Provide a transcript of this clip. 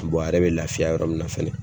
a yɛrɛ bɛ lafiya yɔrɔ min na fɛnɛ